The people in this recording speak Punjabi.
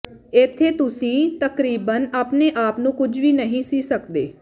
ਇੱਥੇ ਤੁਸੀਂ ਤਕਰੀਬਨ ਆਪਣੇ ਆਪ ਨੂੰ ਕੁਝ ਵੀ ਨਹੀਂ ਸੀ ਸਕਦੇ